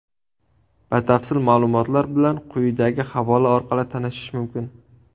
Batafsil ma’lumotlar bilan quyidagi havola orqali tanishish mumkin.